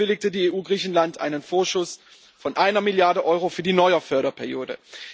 Zudem bewilligte die EU Griechenland einen Vorschuss von einer Milliarde Euro für die neue Förderperiode.